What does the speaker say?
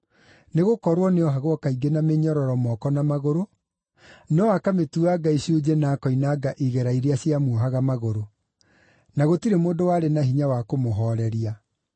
Nĩgũkorwo nĩohagwo kaingĩ na mĩnyororo moko na magũrũ, no akamĩtuanga icunjĩ na akoinanga igera iria ciamuohaga magũrũ. Na gũtirĩ mũndũ warĩ na hinya wa kũmũhooreria.